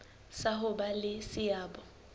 sa ho ba le seabo